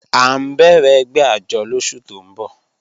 A n bẹ̀rẹ̀ ègbẹ̀ àjọ́ lọ́sù tó n bọ̀